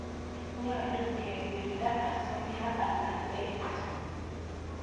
Nyalu kekirinda asoya ama eet